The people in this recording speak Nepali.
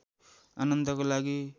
आनन्दका लागि